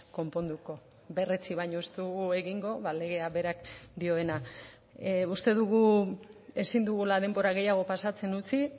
konponduko berretsi baino ez dugu egingo legeak berak dioena uste dugu ezin dugula denbora gehiago pasatzen utzi